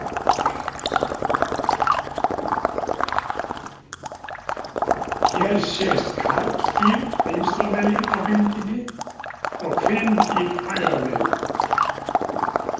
Hér sést karldýr vinstra megin á myndinni og kvendýr hægra megin.